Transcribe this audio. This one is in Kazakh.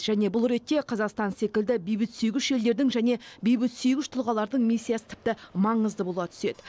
және бұл ретте қазақстан секілді бейбітсүйгіш елдердің және бейбітсүйгіш тұлғалардың миссиясы тіпті маңызды бола түседі